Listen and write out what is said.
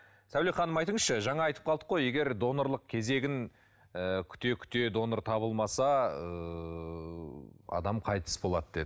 сәуле ханым айтыңызшы жаңа айтып қалдық қой егер донорлық кезегін ы күте күте донор табылмаса ыыы адам қайтыс болады деді